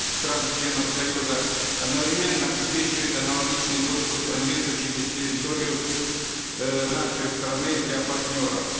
стран членов союза одновременно обеспечивает аналогичный доступ к транзиту через территорию э нашей страны для партнеров